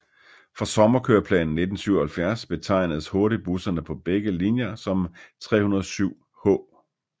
Fra sommerkøreplanen 1977 betegnedes hurtigbusserne på begge linjer som 307H